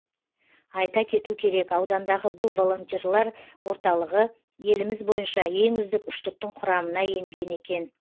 айта кету керек аудандағы бұл волонтерлар орталығы еліміз бойынша ең үздік үштіктің құрамына енген екен